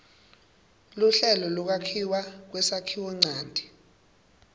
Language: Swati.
luhlelo lwekwakhiwa kwesakhiwonchanti